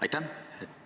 Aitäh!